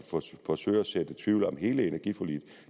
forsøge at så tvivl om hele energiforliget